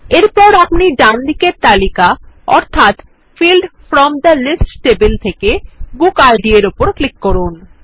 এরপর ডানদিকের তালিকা অর্থাৎ field from the list table থেকে বুক ID র উপর ক্লিক করুন